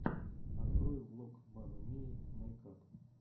открой влог мамы мии мэйкап